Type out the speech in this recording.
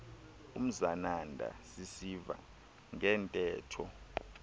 umzananda sisiva ngeentetho